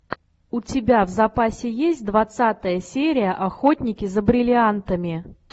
у тебя в запасе есть двадцатая серия охотники за бриллиантами